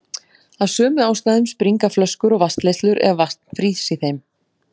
Af sömu ástæðum springa flöskur og vatnsleiðslur ef vatn frýs í þeim.